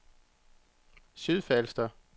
Sydfalster